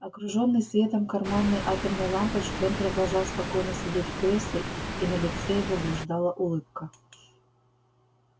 окружённый светом карманной атомной лампочки он продолжал спокойно сидеть в кресле и на лице его блуждала улыбка